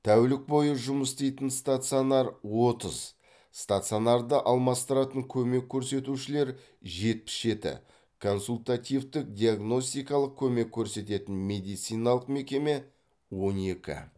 тәулік бойы жұмыс істейтін стационар отыз стационарды алмастыратын көмек көрсетушілер жетпіс жеті консультативтік диагностикалық көмек көрсететін медициналық мекеме он екі